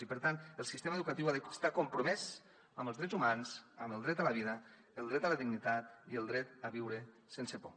i per tant el sistema educatiu ha d’estar compromès amb els drets humans amb el dret a la vida el dret a la dignitat i el dret a viure sense por